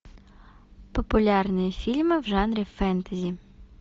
популярные фильмы в жанре фэнтези